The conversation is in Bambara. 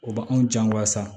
O b'anw jan wa sa